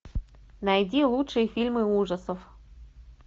найди лучшие фильмы ужасов